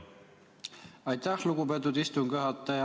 Aitäh, lugupeetud istungi juhataja!